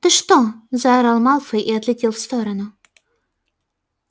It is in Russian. ты что заорал малфой и отлетел в сторону